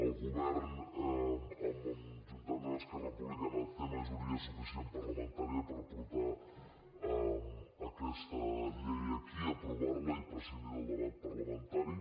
el govern juntament amb esquerra republicana té majoria suficient parlamentària per portar aquesta llei aquí aprovar la i prescindir del debat parlamentari